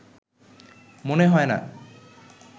মনে হয় না